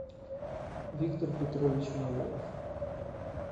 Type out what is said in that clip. виктор петрович майоров